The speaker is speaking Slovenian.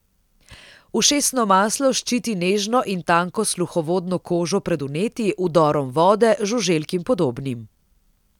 Ušesno maslo ščiti nežno in tanko sluhovodno kožo pred vnetji, vdorom vode, žuželk in podobnim.